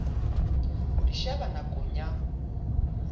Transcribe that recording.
ho di sheba nakong ya